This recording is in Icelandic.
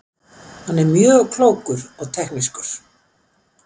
Hann er mjög klókur og teknískur.